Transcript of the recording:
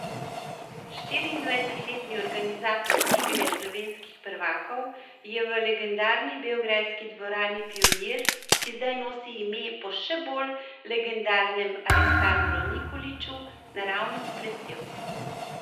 Štiriindvajsetletni organizator igre slovenskih prvakov je v legendarni beograjski dvorani Pionir, ki zdaj nosi ime po še bolj legendarnem Aleksandru Nikoliću, naravnost blestel.